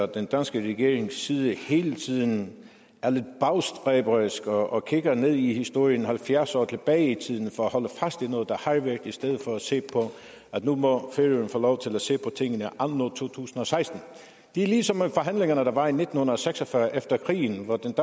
den danske regerings side hele tiden er lidt bagstræberisk og og kigger ned i historien halvfjerds år tilbage i tiden for at holde fast i noget der har været i stedet for at se på at nu må færøerne få lov til at se på tingene anno to tusind og seksten det er ligesom med forhandlingerne der var i nitten seks og fyrre efter krigen hvor den